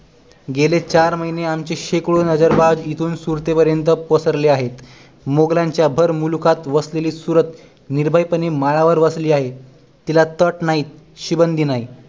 गेले चार महिने आमचे शेकडो नजर बाज इथून सुरते पर्यंत पसरले आहेत मुघलांच्या भर मुलखात वसलेली सुरत निर्भय पणे माळावर वसलेली आहे तिला तट नाही शिबंदी नाही